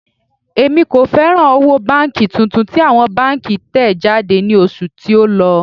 Èmi kò fẹ́ràn owó tuntun tí àwọn báńkì tẹ̀ jáde ní oṣù tí ó lọ.